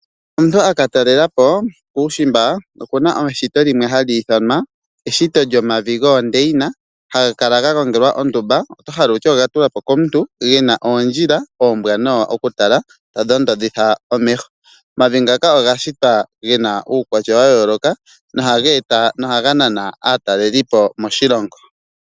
Omuntu akatalelapo kuushimba okuna eshito limwe hali ithanwa eshito lyomavi goondeina, haga kala gagongelwa ondumba oto hala wutye ogatulwa po komuntu gena oondjila ombwanawa okutala tadhoondodhitha omeho. Omavi ngaka oga shitwa gena uukwatya wayooloka nohaga nana aatalelipo moshilongo.